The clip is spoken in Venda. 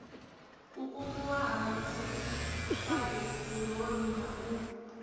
kukumuwa ha dzifaiburoni na u